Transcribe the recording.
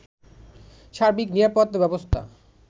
সার্বিক নিরাপত্তা ব্যবস্থা